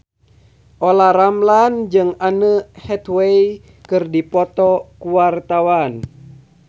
Olla Ramlan jeung Anne Hathaway keur dipoto ku wartawan